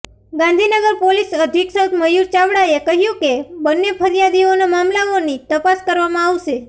Gandhinagar police અધિક્ષક મયૂર ચાવડાએ કહ્યું કે બંન્ને ફરિયાદીઓના મામલાઓની તપાસ કરવામાં આવશે